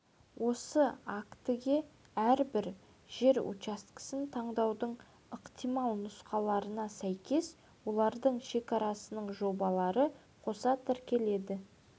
осы актіге әрбір жер учаскесін таңдаудың ықтимал нұсқаларына сәйкес олардың шекарасының жобалары қоса тіркеледі